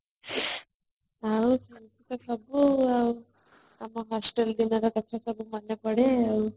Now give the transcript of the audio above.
ଆଉ ଏମିତି ତ ସବୁ ଆଉ କ'ଣ hostel ଦିନର କଥା ସବୁ ମନେ ପଡେ